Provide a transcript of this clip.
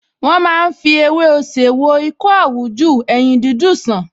Wọ́n máa ń fi ewé osè wo ikọ́ àwújù, eyín dídùn sàn